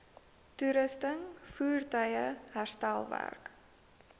toerusting voertuie herstelwerk